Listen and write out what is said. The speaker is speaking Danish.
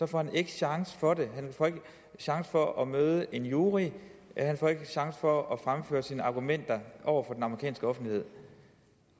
får han ikke chance for det han får ikke chance for at møde en jury han får ikke chance for at fremføre sine argumenter over for den amerikanske offentlighed